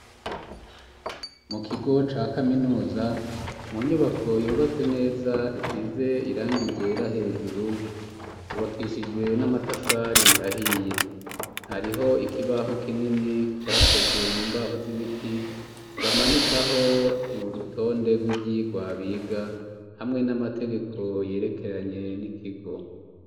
Mu kigo ca kaminuza mu nyubako yubatse neza isize irangi ryera hejuru ryubakishijwe n'amatafari ahiye hariho ikibaho kinini cakozwe mu mbaho z'ibiti bamanikaho irurutonde rw'ivyigwa biga hamwe n'amategeko yerekeranye n'ikigo.